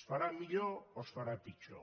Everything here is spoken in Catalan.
es farà millor o es farà pitjor